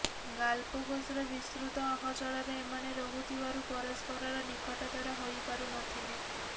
ଗାଲପୋଗସର ବିସ୍ତୃତ ଅହଚଳରେ ଏମାନେ ରହୁଥିବାରୁ ପରସ୍ପରର ନିକଟତର ହୋଇପାରୁ ନ ଥିଲେ